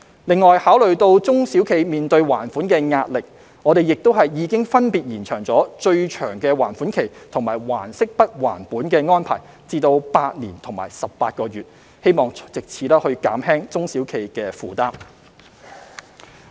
此外，考慮到中小企面對還款的壓力，我們亦已分別延長最長還款期及"還息不還本"安排至8年及18個月，希望藉此減輕中小企的負擔。